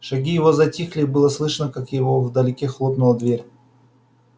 шаги его затихли и было слышно как его вдалеке хлопнула дверь